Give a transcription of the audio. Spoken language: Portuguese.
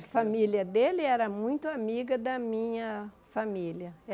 A família dele era muito amiga da minha família.